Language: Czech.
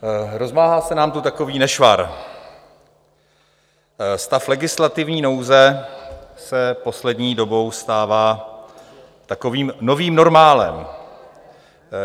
Rozmáhá se nám tu takový nešvar: stav legislativní nouze se poslední dobou stává takovým novým normálem.